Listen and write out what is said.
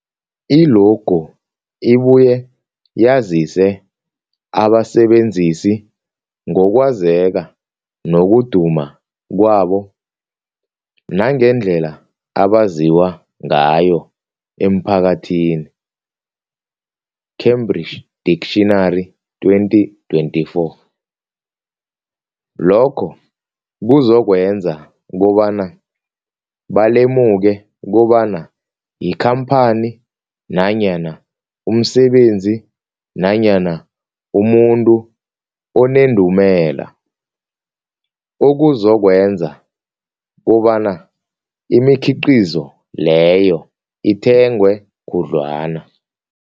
I-logo ibuye yazise abasebenzisi ngokwazeka nokuduma kwabo nangendlela abaziwa ngayo emphakathini, Cambridge Dictionary 2024. Lokho kuzokwenza kobana balemuke kobana yikhamphani nanyana umsebenzi nanyana umuntu onendumela, okuzokwenza kobana imikhiqhizo leyo ithengwe khudlwana.